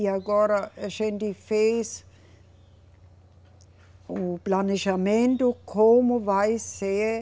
E agora a gente fez o planejamento como vai ser